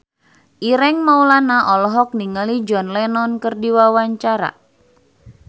Ireng Maulana olohok ningali John Lennon keur diwawancara